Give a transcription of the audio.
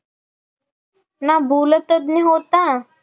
ना भूलतज्ज्ञ होता